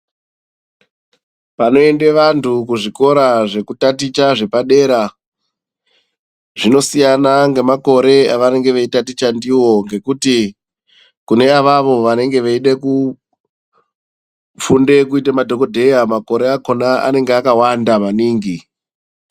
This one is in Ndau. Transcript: Panoende vantu kuzvikora zvekutaticha zvepadera, zvinosiyana ngemakore avanonga vachitaticha ndivo. Ngekuti kune avavo vanenge veide kufunda kuite madhogodheya makore akona anenge akawanda maningi.